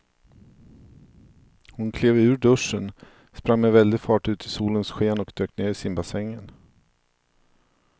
Hon klev ur duschen, sprang med väldig fart ut i solens sken och dök ner i simbassängen.